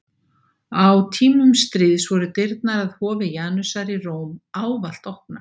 Á tímum stríðs voru dyrnar að hofi Janusar í Róm ávallt opnar.